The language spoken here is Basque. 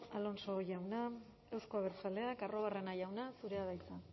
alonso jauna euzko abertzaleak arruabarrena jauna zurea da hitza